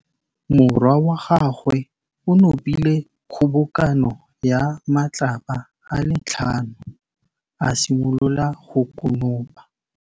Morwa wa gagwe o nopile kgobokanô ya matlapa a le tlhano, a simolola go konopa.